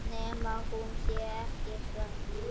Nema hún sé ekkert svöng.